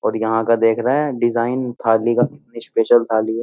और यहां का देख रहे हैं डिजाइन थाली का कितनी स्पेशल थाली है।